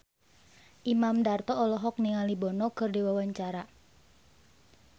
Imam Darto olohok ningali Bono keur diwawancara